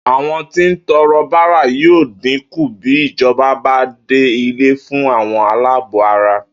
Àwo̩n tí ń to̩ro̩ bárà yóò dín kù bí ìjo̩ba bá dá ilé fú àwo̩n aláàbò ara